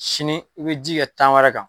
Sini i bɛ ji kɛ tan wɛrɛ kan.